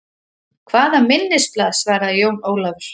Hvaða minnisblað, svaraði Jón Ólafur.